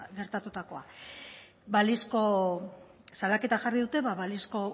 gertatutakoa balizko salaketa jarri dute ba balizko